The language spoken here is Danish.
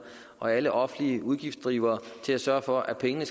og alle offentlige udgiftsdrivere til at sørge for at pengene